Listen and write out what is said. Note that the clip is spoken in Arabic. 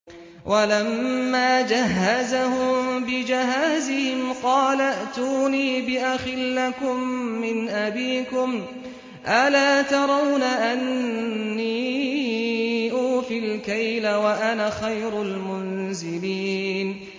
وَلَمَّا جَهَّزَهُم بِجَهَازِهِمْ قَالَ ائْتُونِي بِأَخٍ لَّكُم مِّنْ أَبِيكُمْ ۚ أَلَا تَرَوْنَ أَنِّي أُوفِي الْكَيْلَ وَأَنَا خَيْرُ الْمُنزِلِينَ